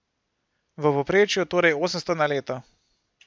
V povprečju torej osemsto na leto.